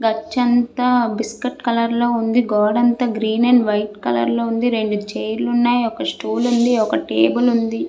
గచ్చు అంతా biscuit colour లో ఉంది. గోడ అంతా గ్రీన్ అండ్ వైట్ కలర్ లో ఉంది. రెండు చైర్ లు ఉన్నాయి. ఒక స్టూల్ ఉంది. ఒక టేబల్ ఉంది.